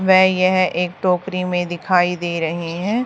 व यह एक टोकरी में दिखाई दे रहे हैं।